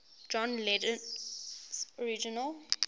john lennon's original